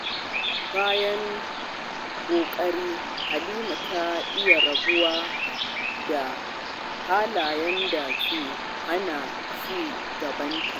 Bayan dogon ƙoƙari, Halima ta iya rabuwa da halayen da ke hana ci gabanta.